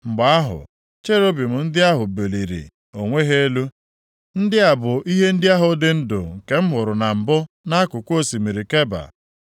Mgbe ahụ, Cherubim ndị ahụ buliri onwe ha elu. Ndị a bụ ihe ndị ahụ dị ndụ nke m hụrụ na mbụ nʼakụkụ osimiri Keba.